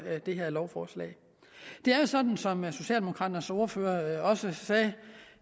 det her lovforslag det er jo sådan som socialdemokraternes ordfører også sagde